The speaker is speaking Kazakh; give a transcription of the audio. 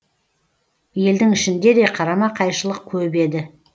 елдің ішінде де қарама қайшылық көп еді